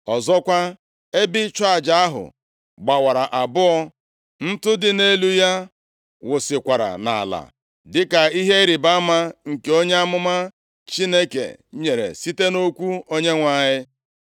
Ọzọkwa, ebe ịchụ aja ahụ gbawara abụọ, ntụ dị nʼelu ya wụsịkwara nʼala dịka ihe ịrịbama nke onye amụma Chineke nyere, site nʼokwu Onyenwe anyị.